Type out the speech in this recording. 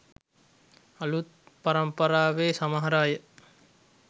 අළුත් පරම්පරාවේ සමහර අය